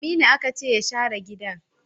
Aminu aka ce ya share gidan!